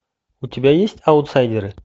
у тебя есть аутсайдеры